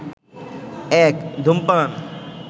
১. ধূমপান